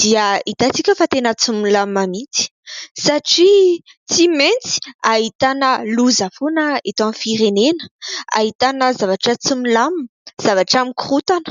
dia hitantsika fa tena tsy milamina mihitsy satria tsy maintsy ahitana loza foana eto amin'ny firenena. Ahitana zavatra tsy milamina, zavatra mikorotana.